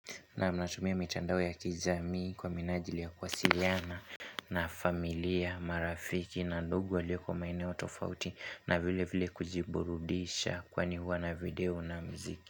Naam natumia mitandao ya kijamii kwa minajili ya kuwasiliana na familia, marafiki na ndugu waloiko maeneo tofauti na vile vile kujiburudisha kwani huwa na video na mziki.